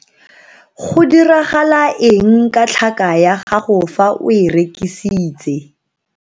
Go diragala eng ka tlhaka ya gago fa o e rekisitse?